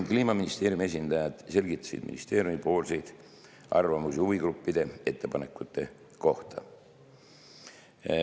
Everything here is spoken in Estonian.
Kliimaministeeriumi esindajad selgitasid ministeeriumi arvamusi huvigruppide ettepanekute kohta.